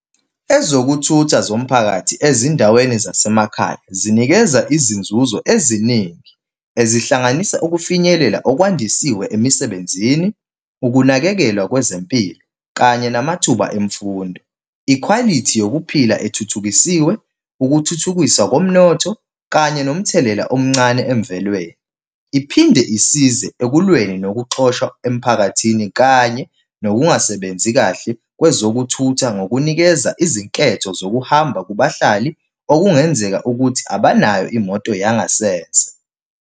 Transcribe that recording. Ezokuthutha zomphakathi ezindaweni zasemakhaya zinikeza izinzuzo eziningi. Ezihlanganisa ukufinyelela okwandisiwe emisebenzini, ukunakekelwa kwezempilo, kanye namathuba emfundo. Ikhwalithi yokuphila ethuthukisiwe, ukuthuthukiswa komnotho kanye nomthelela omncane emvelweni. Iphinde isize ekulweni nokuxoshwa emphakathini, kanye nokungasebenzi kahle kwezokuthutha ngokunikeza izinketho zokuhamba kubahlali okungenzeka ukuthi abanayo imoto yangasese.